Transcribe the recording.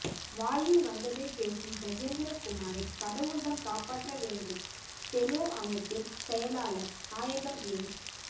வாயில் வந்ததை பேசும் கஜேந்திரகுமாரை கடவுள்தான் காப்பாற்ற வேண்டும் டெலோ அமைப்பின் செயலாளர் நாயகம் என்